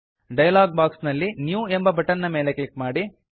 dialog box ನಲ್ಲಿ new ಎಂಬ button ಮೇಲೆ ಕ್ಲಿಕ್ ಮಾಡಿ